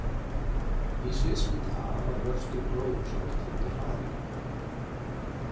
Í sviðsmynd A var vöxtur gróðurhúsalofttegunda hraður.